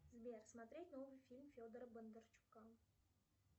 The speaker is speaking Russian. сбер смотреть новый фильм федора бондарчука